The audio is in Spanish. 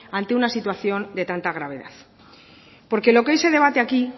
ante una situación de tanta gravedad porque lo que hoy se debate aquí